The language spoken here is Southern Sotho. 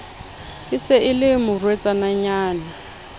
e se e le morwetsanyana